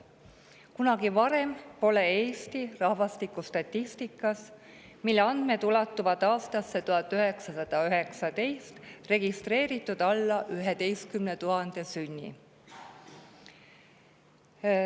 Kunagi varem pole Eesti rahvastikustatistikas, mille andmed ulatuvad aastasse 1919, registreeritud alla 11 000 sünni.